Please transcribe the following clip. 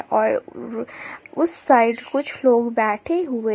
और उ उस साइड कुछ लोग बैठे हुए--